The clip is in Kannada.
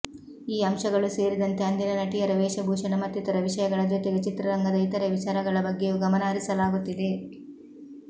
ಈ ಅಂಶಗಳೂ ಸೇರಿದಂತೆ ಅಂದಿನ ನಟಿಯರ ವೇಷಭೂಷಣ ಮತ್ತಿತರ ವಿಷಯಗಳ ಜೊತೆಗೆ ಚಿತ್ರರಂಗದ ಇತರೆ ವಿಚಾರಗಳ ಬಗ್ಗೆಯೂ ಗಮನ ಹರಿಸಲಾಗುತ್ತಿದೆ